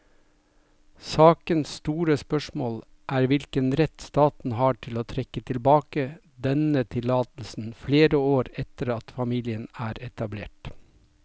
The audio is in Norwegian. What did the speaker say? Sakens store spørsmål er hvilken rett staten har til å trekke tilbake denne tillatelsen flere år etter at familien er etablert.